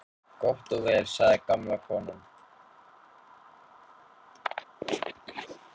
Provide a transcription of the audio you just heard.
Gott og vel sagði gamla konan.